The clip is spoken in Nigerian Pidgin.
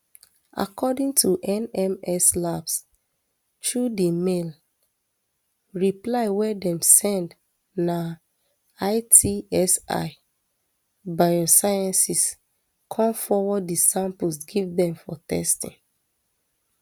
according to nms labs through di mail reply wey dem send na itsi biosciences come forward di samples give dem for testing